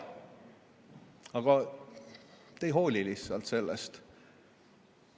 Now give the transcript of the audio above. Aga te lihtsalt ei hooli sellest.